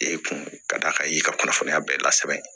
E kun ka d'a kan i y'i ka kunnafoniya bɛɛ lasigi